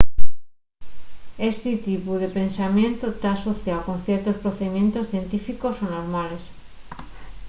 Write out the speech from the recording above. esti tipu de pensamientu ta asociáu con ciertos procedimientos científicos o normales